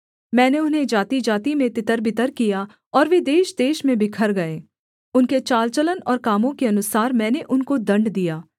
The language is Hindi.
मैंने उन्हें जातिजाति में तितरबितर किया और वे देशदेश में बिखर गए उनके चाल चलन और कामों के अनुसार मैंने उनको दण्ड दिया